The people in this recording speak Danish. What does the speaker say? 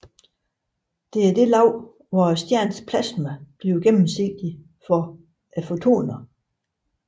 Det er det lag hvor stjernens plasma bliver gennemsigtigt for fotoner